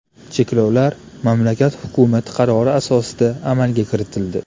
Cheklovlar mamlakat hukumati qarori asosida amalga kiritildi .